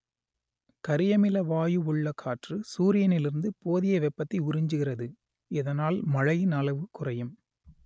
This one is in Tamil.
கரியமில வாயு உள்ள காற்று சூரியனிலிருந்து போதிய வெப்பத்தை உறிஞ்சுகிறது இதனால் மழையின் அளவு குறையும்